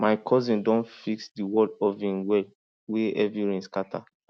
my cousin don fix di wall of him well wey heavy rain scatter